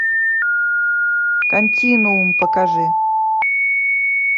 континуум покажи